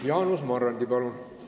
Jaanus Marrandi, palun!